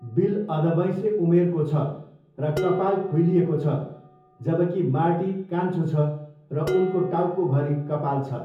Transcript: Bill अधबैँसे उमेरको छ र कपाल खुइलिएको छ, जबकि मार्टी कान्छो छ र उनको टाउकोभरि कपाल छ।